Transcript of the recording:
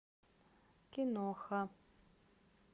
киноха